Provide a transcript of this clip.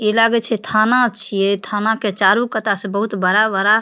इ लागे छै थाना छिये इ थाना के चारों कता से बहुत बड़ा-बड़ा --